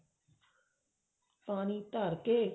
ਪਾਣੀ ਧਰ ਕੇ